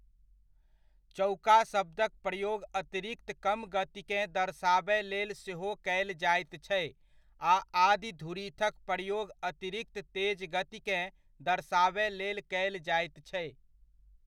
चौका शब्दक प्रयोग अतिरिक्त कम गतिकेँ दर्शाबय लेल सेहो कयल जाइत छै आ आदि धुरीथ के प्रयोग अतिरिक्त तेज गतिकेँ दर्शाबय लेल कयल जाइत छै।